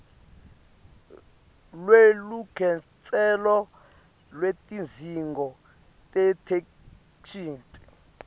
lwelukhetselo lwetidzingo tetheksthi